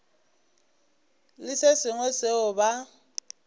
le se sengwe seo ba